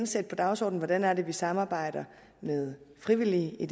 sætte på dagsordenen hvordan vi samarbejder med frivillige i